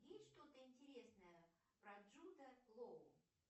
есть что то интересное про джуда лоу